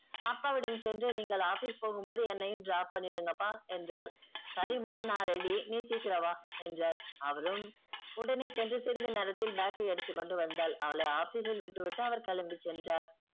அப்பாவிடம் சென்று நீங்கள் office போகும்போது என்னையும் drop பண்ணிடுன்கப்பா என்றால் சரிம்மா நா ready நீ சீக்கிரம் வா என்றார் அவரும் உடனே சென்று சிறிது நேரத்தில் bag ஐ எடுத்துக்கொண்டு வந்தால் அவளை office ல் விட்டுவிட்டு அவர் கிளம்பி சென்றார்.